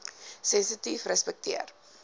sensitiefrespekteer